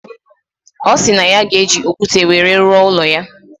Osiri na ya ga eji okwute were ruo ulo ya.